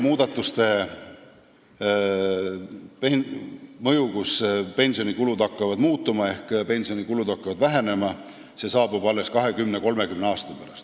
Muudatuste esialgne mõju, kui pensionikulud hakkavad muutuma ehk vähenema, saabub alles 20–30 aasta pärast.